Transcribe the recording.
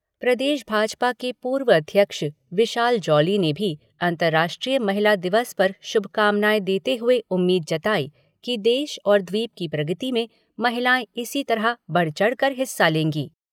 प्रदेश भाजपा के पूर्व अध्यक्ष विशाल जॉली ने भी अंतर्राष्ट्रीय महिला दिवस पर शुभकामनाएँ देते हुए उम्मीद जताई कि देश और द्वीप की प्रगति में महिलाएँ इसी तरह बढ़ चढ़ कर हिस्सा लेंगी।